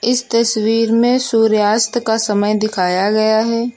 इस तस्वीर में सूर्यास्त का समय दिखाया गया है।